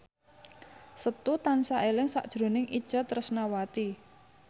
Setu tansah eling sakjroning Itje Tresnawati